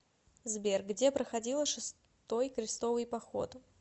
сбер где проходила шестой крестовый поход